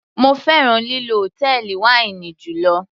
Mo fẹ́ràn lílọ hòtẹ́ẹ̀lì wáínì jùlọ.